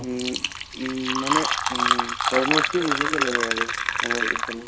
উম উম মানে উম তৰমুজটো বেচিকে লগাই আৰু আমাৰ এইফালে